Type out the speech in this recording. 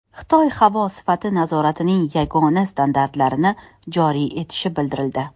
Xitoy havo sifati nazoratining yagona standartlarini joriy etishi bildirildi.